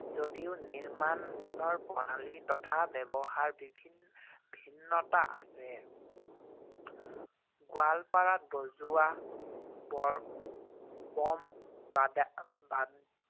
যদিও নিৰ্মাণৰ প্ৰণালী তথা ব্যৱহাৰ বিভি~ ভিন্নতা আছে, গোৱালপাৰাত বজোৱা